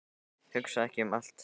Hugsa ekki um allt í einu.